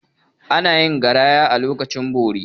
Ana yin giraya a lokacin bori.